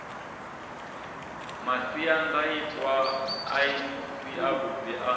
masiandaitwa a si avhuḓi a